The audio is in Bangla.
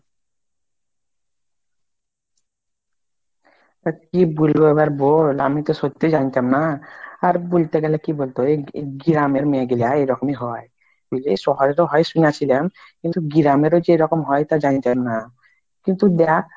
আর কি বুলবে আমার বোন আমি তো সত্যি জানতাম না, আর বুলতে গেলে কি বোলত, এই এই গ্রামের মেয়েগুলা এইরকম ই হয় বুজলি শহরের হয় শুনেছিলাম কিন্তু গ্রামের ও যে এরকম হয় তা জানতাম না কিন্তু দেখ